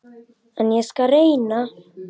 Það ríkti mikil spenna.